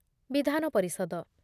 ବିଧାନ ପରିଷଦ